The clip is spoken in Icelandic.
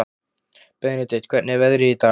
Benedikt, hvernig er veðrið í dag?